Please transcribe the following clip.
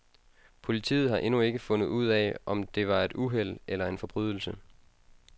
Politiet har endnu ikke fundet ud af, om det var et uheld eller en forbrydelse.